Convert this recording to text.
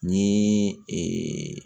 Ni ee